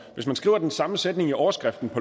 hvis man skriver den samme sætning i overskriften